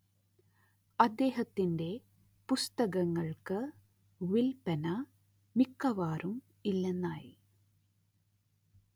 അദ്ദേഹത്തിന്റെ പുസ്തകങ്ങൾക്ക് വില്പന മിക്കവാറും ഇല്ലെന്നായി